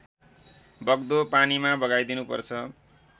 बग्दो पानीमा बगाइदिनुपर्छ